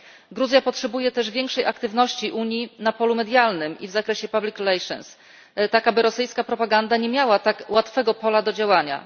Gruzja potrzebuje też większej aktywności Unii na polu medialnym i w zakresie public relations, tak aby rosyjska propaganda nie miała tak łatwego pola do działania.